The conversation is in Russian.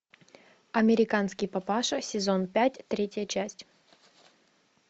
американский папаша сезон пять третья часть